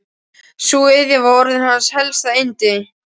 Sú iðja var orðin hans helsta yndi.